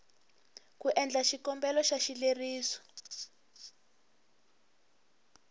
ku endla xikombelo xa xileriso